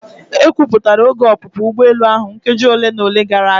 Ekwupụtara oge ọpụpụ ugbọelu ahụ nkeji ole na ole gara aga.